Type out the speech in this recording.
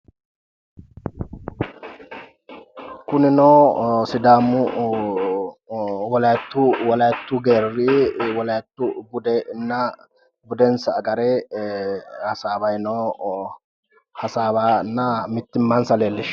Kunnino sidaamu wolayitu geeri wolayitu budenna budensa agare hasaawayi no hasaawanna mitimmansa leelishano.